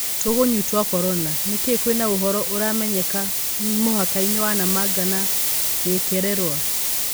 tũgunyũtwa Korona. Nĩkĩĩ kwĩna ũhoro ũtaramenyeka mũhakainĩ wa Namanga na Gĩkererwa?